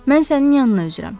Mən sənin yanına üzürəm.